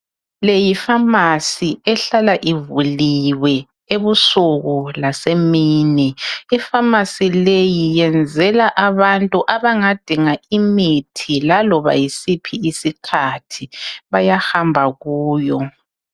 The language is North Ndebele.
Le Yi pharmacy ehlala ivuliwe ebusuku lasemini ipharmacy leyi yenzela abantu abangadinga imithi laloba yisiphi isikhathi bayahamba kuyo.